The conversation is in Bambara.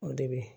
O de bɛ